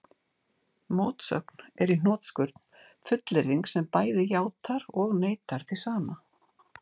Mótsögn er í hnotskurn fullyrðing sem bæði játar og neitar því sama.